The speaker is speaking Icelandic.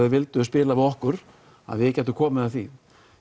vildu spila við okkur að við gætum komið að því